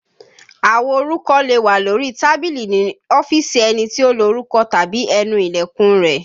Àwo orúkọ lè wà lórí tábìlì ní ọ́fíìsì ẹni tí ó lorúkọ tàbí ẹnu Ilẹ̀kùn rẹ̀